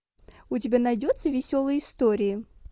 у тебя найдется веселые истории